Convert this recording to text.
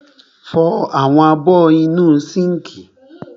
Fọ àwọn abọ́ inú sínkì.